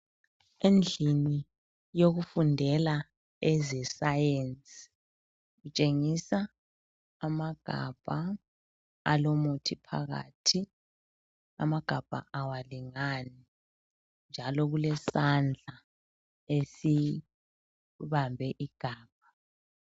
Endlini yokufundela ezesayensi kutshengisa amagabha alomuthi phakathi. Amagabha awalingani njalo kulesandla esibambe igabha.